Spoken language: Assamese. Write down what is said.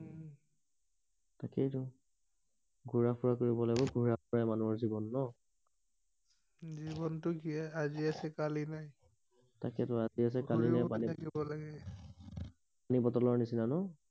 তাকেইটো ঘূৰা ফুৰা কৰিব লাগে ঘূৰা ফুৰাই মানুহৰ জীৱন ন জীৱনটো জীয়াই আজি আছে কালি নাই তাকেইটো আজি আছে কালি নাই গুৰি থাকিব লাগে পানী বটলৰ নিচিনা ন